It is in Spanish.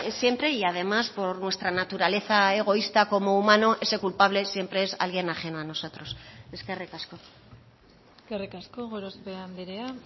siempre y además por nuestra naturaleza egoísta como humano ese culpable siempre es alguien ajeno a nosotros eskerrik asko eskerrik asko gorospe andrea